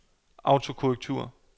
autokorrektur